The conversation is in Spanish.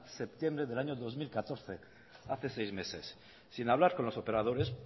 septiembre del año dos mil catorce hace seis meses sin hablar con los operadores